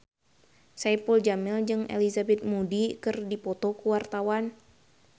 Saipul Jamil jeung Elizabeth Moody keur dipoto ku wartawan